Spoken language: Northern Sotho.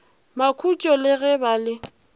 makhutšo le ge ba le